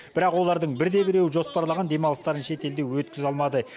бірақ олардың бірде біреуі жоспарлаған демалыстарын шетелде өткізе алмады